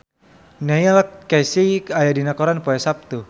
Neil Casey aya dina koran poe Saptu